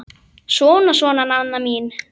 Svona, svona, Nanna mín.